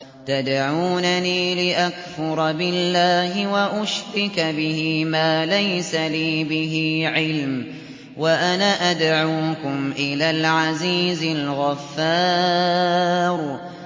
تَدْعُونَنِي لِأَكْفُرَ بِاللَّهِ وَأُشْرِكَ بِهِ مَا لَيْسَ لِي بِهِ عِلْمٌ وَأَنَا أَدْعُوكُمْ إِلَى الْعَزِيزِ الْغَفَّارِ